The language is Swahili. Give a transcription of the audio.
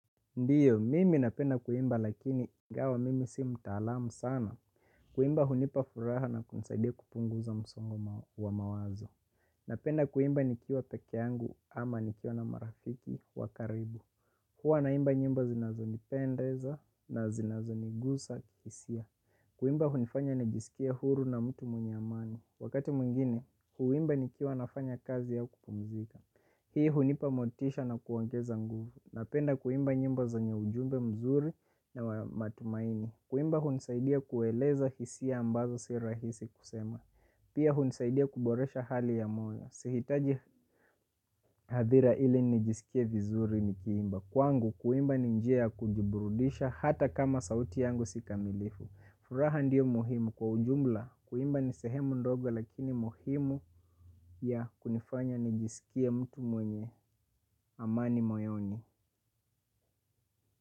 Ndiyo, mimi napenda kuimba lakini ingawa mimi si mtaalamu sana. Kuimba hunipa furaha na kunisaidia kupunguza msongo wa mawazo. Napenda kuimba nikiwa peke yangu ama nikiwa na marafiki wa karibu. Hua naimba nyimbo zinazonipendeza na zinazo nigusa kihisia. Kuimba hunifanya nijisikie huru na mtu mwenye amani. Wakati mwingine, huimba nikiwa nafanya kazi au kupumzika. Hii hunipa motisha na kuongeza nguvu. Napenda kuimba nyimbo zenye ujumbe mzuri na matumaini. Kuimba hunisaidia kueleza hisia ambazo si rahisi kusema. Pia hunisaidia kuboresha hali ya moyo. Sihitaji hadhira ili nijisikie vizuri nikiimba. Kwangu kuimba ni njia kujiburudisha hata kama sauti yangu si kamilifu. Furaha ndiyo muhimu kwa ujumla. Kuimba ni sehemu ndoga lakini muhimu ya kunifanya nijisikie mtu mwenye amani moyoni.